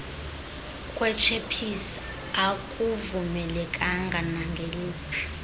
kwetshephisi akuvumelekanga nangeliphi